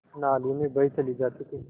नालियों में बही चली जाती थी